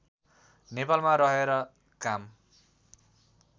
नेपालमा रहेर काम